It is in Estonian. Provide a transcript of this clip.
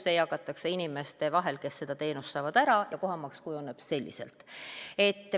See kulu jagatakse inimeste vahel, kes seda teenust saavad, ära, ja selliselt kujuneb kohamaks.